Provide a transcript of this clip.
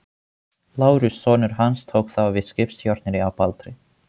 Lárus, sonur hans, tók þá við skipstjórninni á Baldri.